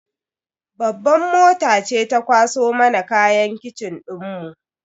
Babban mota ce ta kwaso mana kayan kitchen dinmu.